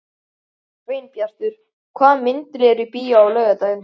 Sveinbjartur, hvaða myndir eru í bíó á laugardaginn?